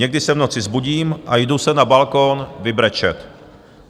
Někdy se v noci vzbudím a jdu se na balkon vybrečet.